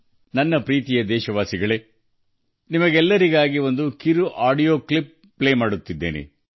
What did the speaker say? ನನ್ನ ಪ್ರೀತಿಯ ದೇಶವಾಸಿಗಳೆ ನಾನು ನಿಮ್ಮೆಲ್ಲರಿಗೂ ಒಂದು ಸಣ್ಣ ಆಡಿಯೋ ಕ್ಲಿಪ್ ಪ್ಲೇ ಮಾಡುತ್ತಿದ್ದೇನೆ